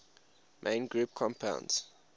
main group compounds